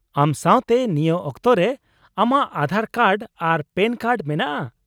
ᱟᱢ ᱥᱟᱶᱛᱮ ᱱᱤᱭᱟᱹ ᱠᱚᱛᱚ ᱨᱮ ᱟᱢᱟᱜ ᱟᱫᱷᱟᱨ ᱠᱟᱨᱰ ᱟᱨ ᱯᱮᱱ ᱠᱟᱨᱰ ᱢᱮᱱᱟᱜᱼᱟ ?